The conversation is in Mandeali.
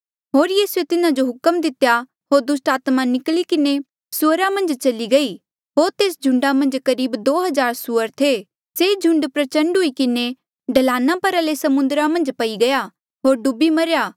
होर यीसूए तिन्हा जो हुक्म दितेया होर दुस्टात्मा निकली किन्हें सुअरा मन्झ चली गयी होर तेस झुंडा मन्झ करीब दो हज़ार सुअर थे से झुंड प्रचण्ड हुई किन्हें ढलाना परा ले समुद्रा मन्झ पई गया होर डूबी मरेया